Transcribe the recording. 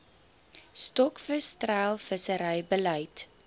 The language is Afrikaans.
stokvis treilvissery beleid